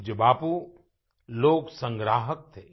पूज्य बापू लोक संग्राहक थे